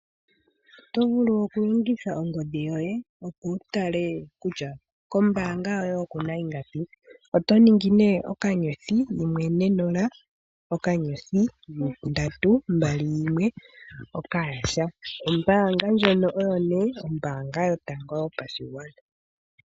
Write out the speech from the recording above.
Otovulu okulongitha ongodhi yoye opo wutale kutya kombaanga yoye okuna ingapi. Otoningi nee okanyothi yimwe ne nola nokanyothi ndatu mbali yine nokampani. Ombaanga ndjono nee ombaanga yotango yopashigwana.